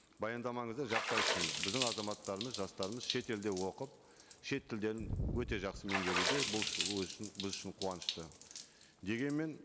баяндамаңызда жақсы айттыңыз біздің азаматтарымыз жастарымыз шет елде оқып шет тілдерін өте жақсы меңгеруде бұл өзі үшін біз үшін қуанышыты дегенмен